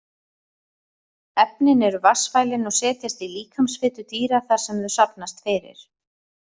Efnin eru vatnsfælin og setjast í líkamsfitu dýra þar sem þau safnast fyrir.